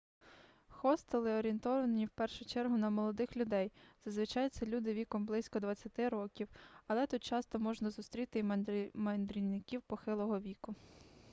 хостели орієнтовані в першу чергу на молодих людей зазвичай це люди віком близько двадцяти років але тут часто можна зустріти й мандрівників похилого віку